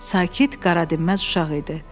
Sakit, qaradinməz uşaq idi.